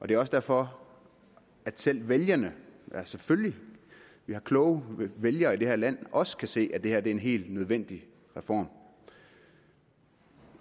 det er også derfor at selv vælgerne vi har selvfølgelig kloge vælgere i det her land også kan se at det her er en helt nødvendig reform